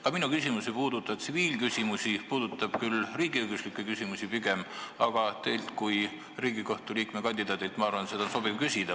Ka minu küsimus ei puuduta tsiviilküsimusi, pigem riigiõiguslikke küsimusi, aga teilt kui Riigikohtu liikme kandidaadilt on minu arvates sobiv seda küsida.